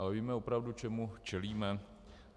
Ale víme opravdu, čemu čelíme?